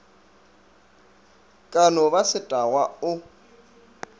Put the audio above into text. ka no ba setagwa o